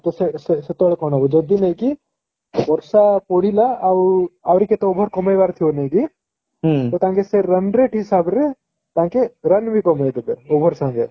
ସେ ସେ ସେ ସେତେବେଳେ କଣ ହବ ଯଦି ନାଇକି ବର୍ଷା ପଡିଲା ଆଉ ଆହୁରି କେତେ over କମେଇ ବାର ଥିବ ନେଇକି ତାଙ୍କେ ସେ run rate ହିସାବରେ ତାଙ୍କେ run ବି କମେଇ ଦେବେ over ସଙ୍ଗେ